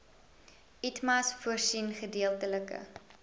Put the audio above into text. itmas voorsien gedeeltelike